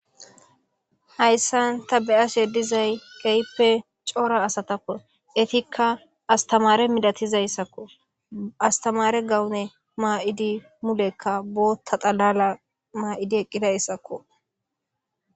Hayssan ta be'ashe dizay geyippe coora asatakko etikka astamare midatizayssakko astamare gawune maa7idi mulekka bootta xalala maa7idi eqqidayssakko.